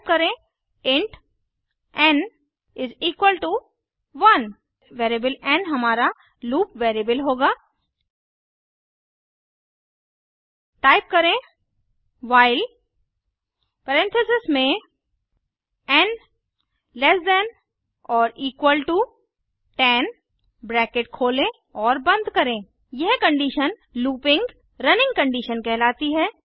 type करें int n 1 variable n हमारा loop variable होगा टाइप करें व्हाइल परेन्थेसिस में n less than or equal to 10 bracket खोलें और बंद करें यह कंडीशन लूपिंग रनिंग कंडीशन कहलाती है